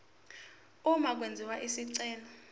uma kwenziwa isicelo